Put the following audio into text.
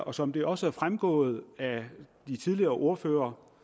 og som det også er fremgået af det de tidligere ordførere